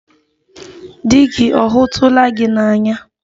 Di gị ọ hụtụla gị n'anya